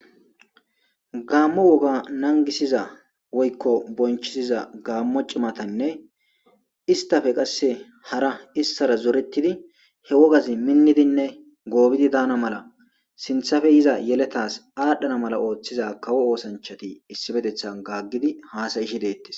Gaammo wogaa nanggissiza woykko bonchchissida gaammo cimathanne isththape qassi hara issara zoreththdi he wogazi minnizinne goobidi dana mala sinththape yizaa yelethaas aadhdhana mala ooththiza kawo oosanchchathi issipetheththan gaggidi haasa7ishe deeththes.